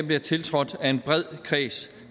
bliver tiltrådt af en bred kreds